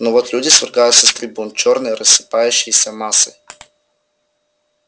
но вот люди свергаются с трибун чёрной рассыпающейся массой